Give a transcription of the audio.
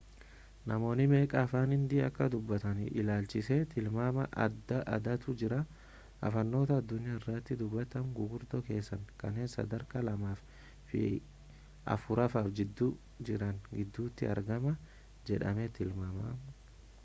namoonni meeqa afaan hindii akka dubbatan ilaalchisee tilmaama adda addaatu jira afaanota addunyaa irratti dubbataman guguddoo keessaa kanneen sadarkaa lammaaffa fi afuraffaa gidduu jiran gidduutti argama jedhamee tilmaamama